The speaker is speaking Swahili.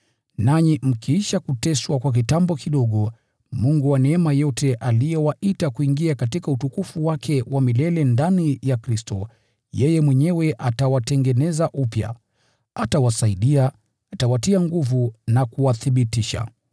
Nanyi mkiisha kuteswa kwa kitambo kidogo, Mungu wa neema yote, aliyewaita kuingia katika utukufu wake wa milele ndani ya Kristo, yeye mwenyewe atawarejesha na kuwatia nguvu, akiwaimarisha na kuwathibitisha.